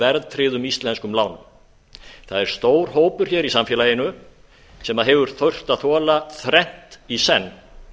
verðtryggðum íslenskum lánum það er stór hópur í samfélaginu sem hefur þurft að þola þrennt í senn